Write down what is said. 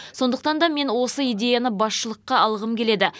сондықтан да мен осы идеяны басшылыққа алғым келеді